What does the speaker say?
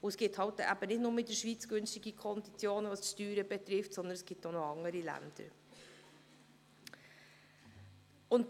Es gibt nicht nur in der Schweiz günstige Konditionen, was die Steuern betrifft, sondern es gibt auch noch andere Länder.